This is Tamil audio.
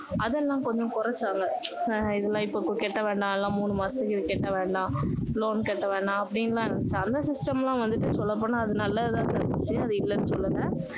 அதெல்லாம் கொஞ்சம் குறைச்சாங்க இதெல்லாம் இப்போ கட்ட வேண்டாம் மூணு மாசத்துக்கு கட்ட வேண்டாம் loan கட்ட வேணாம் அப்படின்னு எல்லாம் இருந்திச்சு அந்த system எல்லாம் சொல்ல போனா நல்லது தான் நடந்திச்சு அதை இல்லன்னு சொல்லல